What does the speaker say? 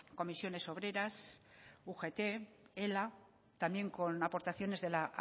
comisiones obreras ugt ela también con aportación de la